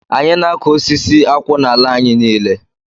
Anyị na-akụ osisi akwụ n'ala anyị niile